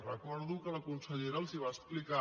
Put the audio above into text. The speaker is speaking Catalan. recordo que la consellera els ho va explicar